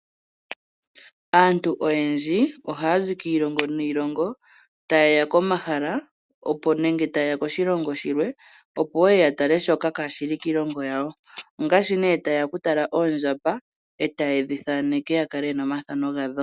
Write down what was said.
Aantu oyendji ohaya zi kiilongo niilongo ta ye ya komahala nenge ta ye ya koshilongo shilwe opo ye ye ya tale shoka kaashi li kiilongo yawo. Ongashi nee ta ye ya okutala oondjamba e ta ye dhi thaneke ya kale ye na omathano gadho.